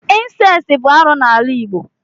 incesti bụ arụ n'ala igbo.